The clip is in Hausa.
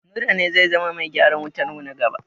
Nura ne zai zama bai gyaran wutarmu na gaba.